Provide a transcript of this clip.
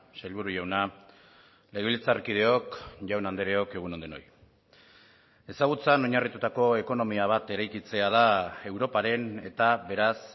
sailburu jauna legebiltzarkideok jaun andreok egun on denoi ezagutzan oinarritutako ekonomia bat eraikitzea da europaren eta beraz